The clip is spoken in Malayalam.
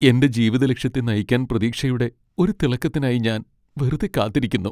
എന്റെ ജീവിതലക്ഷ്യത്തെ നയിക്കാൻ പ്രതീക്ഷയുടെ ഒരു തിളക്കത്തിനായി ഞാൻ വെറുതെ കാത്തിരിക്കുന്നു.